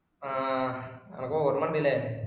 ആഹ് ആനക്ക് ഓർമ വന്നില്ലേ.